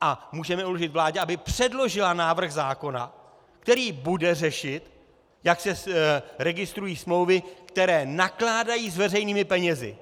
a můžeme uložit vládě, aby předložila návrh zákona, který bude řešit, jak se registrují smlouvy, které nakládají s veřejnými penězi.